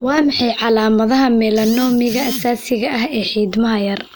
Waa maxay calaamadaha melanoma aasaasiga ah ee xiidmaha yar?